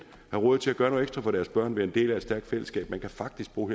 råd til at gøre noget ekstra for deres børn og være en del af et stærkt fællesskab man kan faktisk bo